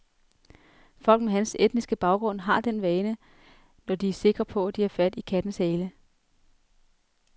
Folk med hans etniske baggrund har den vane, når de er sikre på, at de har fat i kattens hale.